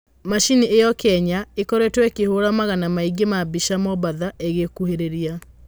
Macini ĩyo Kenya ĩkoretwo ĩkĩhũra magana maingĩ ma mbica Mombatha ĩgĩkuhĩrĩria.